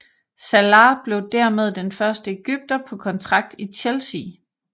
Salah blev dermed den første egypter på kontrakt i Chelsea